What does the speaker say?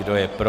Kdo je pro?